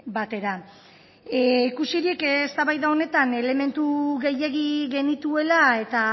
batera ikusirik eztabaida honetan elementu gehiegi genituela eta